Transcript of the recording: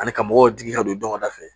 Ani ka mɔgɔw digi ka don dɔngɛ fɛ